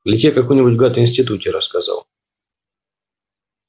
или тебе какой-нибудь гад в институте рассказал